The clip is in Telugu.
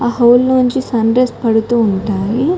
ఆ హోల్ లోంచి సన్ రేస్ పడుతూ ఉంటాయి.